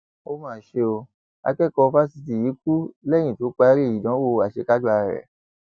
ó mà ṣe ọ akẹkọọ fásitì yìí kú lẹyìn tó parí ìdánwò àṣekágbá rẹ